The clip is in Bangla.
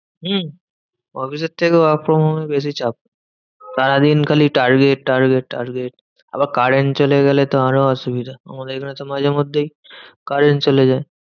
হম অফিসের থেকেও work from home এ বেশি চাপ। সারাদিন খালি target target target. আবার current চলে গেলে তো আরো অসুবিধা। আমাদের এখানেতো মাঝে মধ্যেই current চলে যায়।